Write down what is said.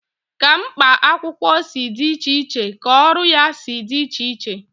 Ka mkpa akwụkwọ si dị iche iche ka ọrụ ya si dị iche iche.